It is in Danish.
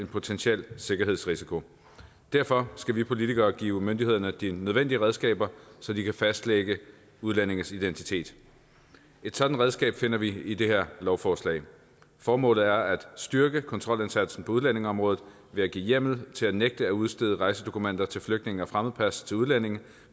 en potentiel sikkerhedsrisiko derfor skal vi politikere give myndighederne de nødvendige redskaber så de kan fastlægge udlændinges identitet et sådant redskab finder vi i det her lovforslag formålet er at styrke kontrolindsatsen på udlændingeområdet ved at give hjemmel til at nægte at udstede rejsedokumenter til flygtninge og fremmedpas til udlændinge